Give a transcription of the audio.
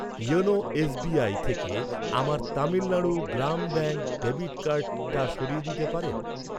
YONO SBI থেকে আমার Tamil Nadu Grama bank debit কার্ডটা সরিয়ে দিতে পারেন?